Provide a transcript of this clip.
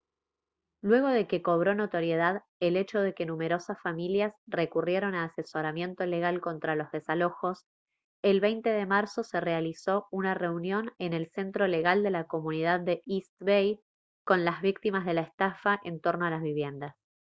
luego de que cobró notoriedad el hecho de que numerosas familias recurrieron a asesoramiento legal contra los desalojos el 20 de marzo se realizó una reunión en el centro legal de la comunidad de east bay con las víctimas de la estafa en torno a las viviendas